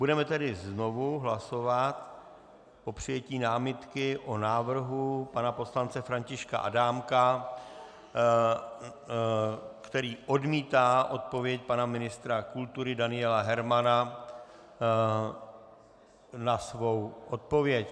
Budeme tedy znovu hlasovat o přijetí námitky o návrhu pana poslance Františka Adámka, který odmítá odpověď pana ministra kultury Daniela Hermana na svou odpověď.